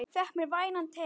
Fékk mér vænan teyg.